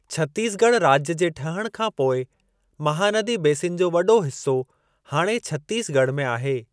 छत्तीसगढ़ राज्य जे ठहण खां पोइ, महानदी बेसिन जो वॾो हिस्सो हाणे छत्तीसगढ़ में आहे।